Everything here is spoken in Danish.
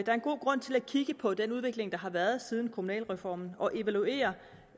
er en god grund til at kigge på den udvikling der har været siden kommunalreformen og evaluere